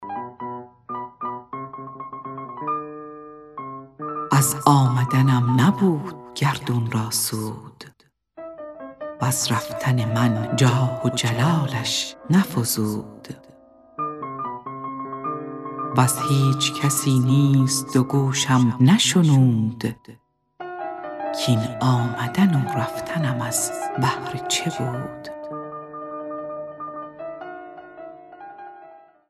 از آمدنم نبود گردون را سود وز رفتن من جاه و جلالش نفزود وز هیچ کسی نیز دو گوشم نشنود کاین آمدن و رفتنم از بهر چه بود